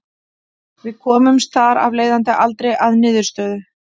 Við komumst þar af leiðandi aldrei að niðurstöðu.